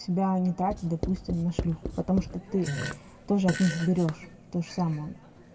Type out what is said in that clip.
тебя они тратят допустим на шлюх потому что ты тоже от них берёшь то же самое